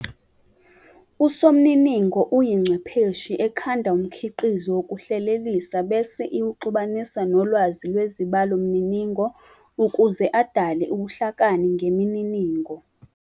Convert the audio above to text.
uSomniningo uyingcwepheshi ekhanda umkitizo wokuhlelelisa bese iwuxubanisa nolwazi lwezibalomniningo ukuze adale ubuhlakani ngemininingo.